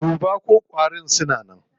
Duba ko ƙwarin suna nan.